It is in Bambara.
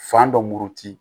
Fan dɔ murti